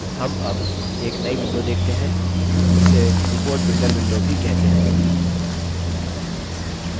हम अब एक नई window देखते हैं जिसे report builder window भी कहते हैं